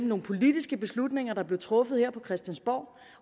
nogle politiske beslutninger der blev truffet her på christiansborg